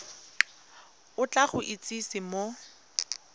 o tla go itsise mo